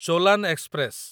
Cholan express